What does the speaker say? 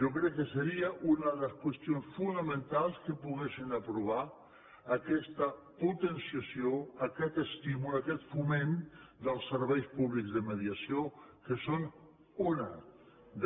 jo crec que seria una de les qüestions fonamentals que poguéssim aprovar aquesta potenciació aquest estímul aquest foment dels serveis públics de mediació que són un